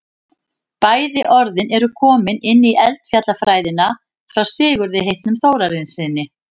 bæði orðin eru komin inn í eldfjallafræðina frá sigurði heitnum þórarinssyni